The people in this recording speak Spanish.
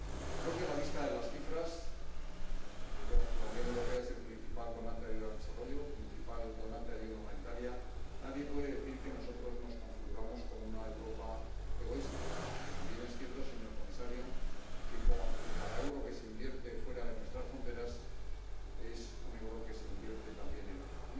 Creo que a la vista de las cifras —la Unión Europea es el principal donante de ayuda al desarrollo, el principal donante de ayuda humanitaria—, nadie puede decir que nosotros nos configuramos como una Europa egoísta, aunque también es cierto, señor comisario, que cada euro que se invierte fuera de nuestras fronteras es un euro que se invierte también en Europa.